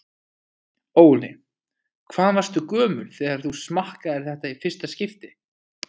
Óli: Hvað varstu gömul þegar þú smakkaðir þetta í fyrsta skipti?